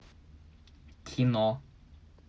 кино